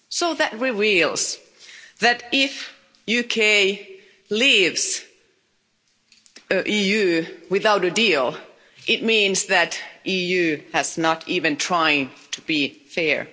That reveals that if the UK leaves the EU without a deal, it means that the EU has not even tried to be fair.